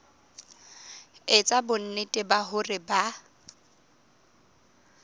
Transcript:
etsa bonnete ba hore ba